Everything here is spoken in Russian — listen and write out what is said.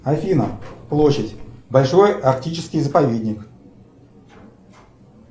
афина площадь большой арктический заповедник